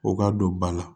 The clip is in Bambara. U ka don ba la